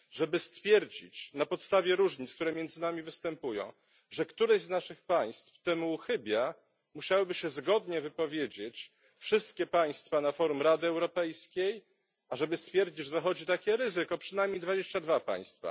Żeby stwierdzić na podstawie różnic, które między nami występują, że któreś z naszych państw temu uchybia, musiałyby się zgodnie wypowiedzieć wszystkie państwa na forum Rady Europejskiej, a żeby stwierdzić, że zachodzi takie ryzyko przynajmniej 22 państwa.